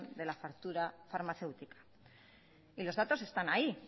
de la factura farmacéutica los datos están ahí